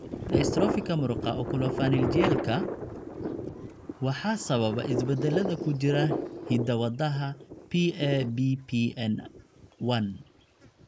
Dystrophyka muruqa oculopharyngealka(OPMD) waxaa sababa isbeddellada ku jira hidda-wadaha PABPN1.